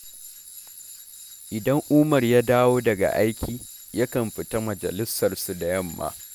Idan Umar ya dawo daga aiki, yakan fita majalisarsu da yamma